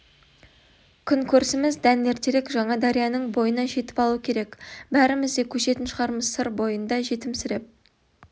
күн көрісіміз дән ертерек жаңадарияның бойына жетіп алу керек бәріміз де көшетін шығармыз сыр бойында жетімсіреп